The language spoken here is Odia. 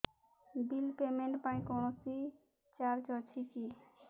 ବିଲ୍ ପେମେଣ୍ଟ ପାଇଁ କୌଣସି ଚାର୍ଜ ଅଛି କି